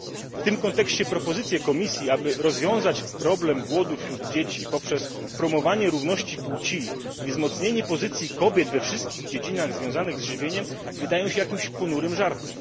W tym kontekście propozycje Komisji, aby rozwiązać problem głodu wśród dzieci poprzez promowanie równości płci i wzmocnienie pozycji kobiet we wszystkich dziedzinach związanych z żywieniem wydają się jakimiś ponurym żartem.